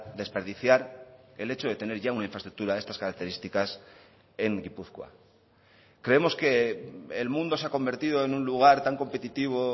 desperdiciar el hecho de tener ya una infraestructura de estas características en gipuzkoa creemos que el mundo se ha convertido en un lugar tan competitivo